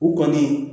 U kɔni